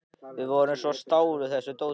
Það voru þeir sem stálu þessu dóti.